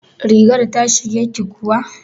Rigar ta shige ki kuwa?